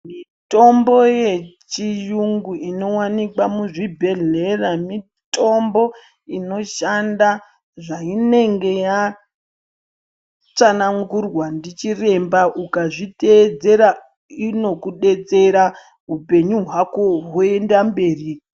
Mitombo yechiyungu inowanikwa muzvibhedhlera mitombo inoshanda zvainenge yatsanangurwa ndichiremba. Ukazvitevedzera inokudetsera upenyu hwako hwoenda mberi.